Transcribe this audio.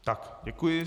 Tak, děkuji.